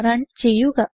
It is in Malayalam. റൺ ചെയ്യുക